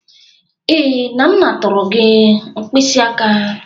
Ee, Nana tụrụ gị mkpịsị aka.